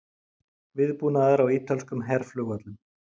Viðbúnaður á ítölskum herflugvöllum